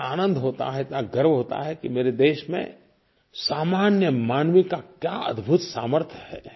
इतना आनंद होता है इतना गर्व होता है कि मेरे देश में सामान्य मानव का क्या अद्भुत सामर्थ्य है